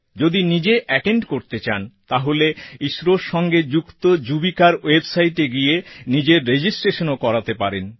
যদি নিজে এটেন্ড করতে চান তাহলে ইসরোর সঙ্গে যুক্ত যুবিকার websiteএ গিয়ে নিজের registrationও করাতে পারেন